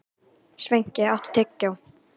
Sveinki, áttu tyggjó?